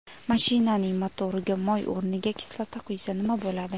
Mashinaning motoriga moy o‘rniga kislota quysa nima bo‘ladi?